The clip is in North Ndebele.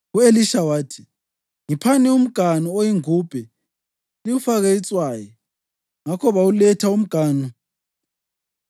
U-Elisha wathi, “Ngiphani umganu oyingubhe liwufake itswayi.” Ngakho bawuletha umganu.